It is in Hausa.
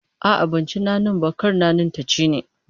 A'a, ban ci nanin ba, kar nanin ta ci ni